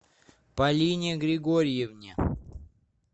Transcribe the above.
полине григорьевне